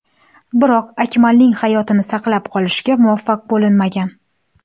Biroq Akmalning hayotini saqlab qolishga muvaffaq bo‘linmagan.